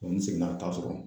n seginna ka taa sɔrɔ